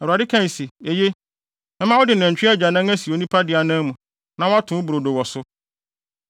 Awurade kae se, “eye, mɛma wode nantwi agyanan asi onipa de anan mu, na woato wo brodo wɔ so.”